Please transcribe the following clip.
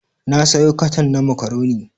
Na sayo katan na makaroni.